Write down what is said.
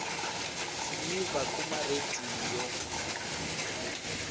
siyiva kuma rediyo